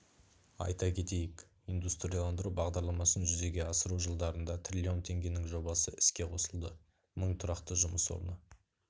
айта кетейік индустрияландыру бағдарламасын жүзеге асыру жылдарында трлн теңгенің жобасы іске қосылды мың тұрақты жұмыс орны